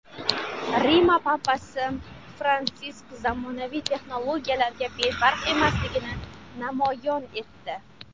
Rima Papasi Fransisk zamonaviy texnologiyalarga befarq emasligini namoyon etdi.